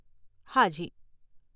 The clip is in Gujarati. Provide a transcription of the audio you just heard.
હાજી.